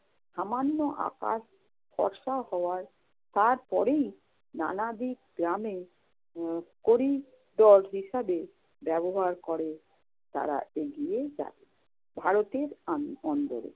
সামান্য আকাশ ফর্সা হওয়ার। তারপরেই নানাবিধ গ্রামে উম হিসাবে ব্যবহার করে তারা এগিয়ে যায়। ভারতের আন্দ~ অন্দরে